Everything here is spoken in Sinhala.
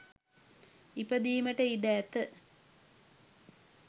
ඉපදීමට ඉඩ ඇත.